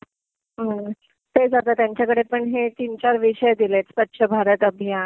हं. तेच आता. त्यांच्याकडे पण हे तीन चार विषय दिलेत, स्वच्छ भारत अभियान,